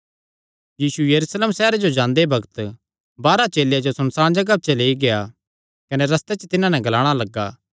यीशु यरूशलेम सैहरे जो जांदे बग्त बारांह चेलेयां जो सुनसाण जगाह च लेई गेआ कने रस्ते च तिन्हां नैं ग्लाणा लग्गा